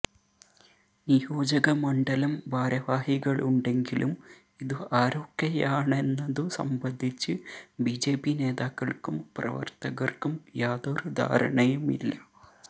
നിയോജക മണ്ഡലം ഭാരവാഹികളുണ്ടെങ്കിലും ഇതു ആരൊക്കെയാണെന്നതു സംബന്ധിച്ച് ബിജെപി നേതാക്കള്ക്കും പ്രവര്ത്തകര്ക്കും യാതൊരു ധാരണയുമില്ല